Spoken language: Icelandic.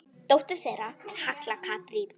Dóttir þeirra er Halla Katrín.